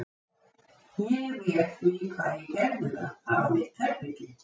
Ég réð því hvað ég gerði þar: það var mitt herbergi.